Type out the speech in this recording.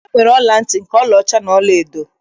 E nwere ọla ntị nke ọlaọcha nakwa nke ọlaedo